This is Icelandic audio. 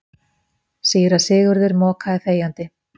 Síra Sigurður mokaði þegjandi.